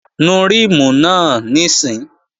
Nu ríìmù náà níìsín!